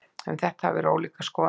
Um þetta hafa verið ólíkar skoðanir.